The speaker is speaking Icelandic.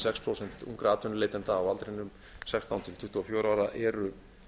sex prósent ungra atvinnuleitenda á aldrinum sextán til tuttugu og fjögurra ára eru